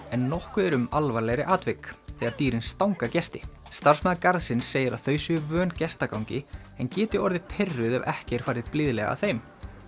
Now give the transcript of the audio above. en nokkuð er um alvarlegri atvik þegar dýrin stanga gesti starfsmaður garðsins segir að þau séu vön gestagangi en geti orðið pirruð ef ekki er farið blíðlega að þeim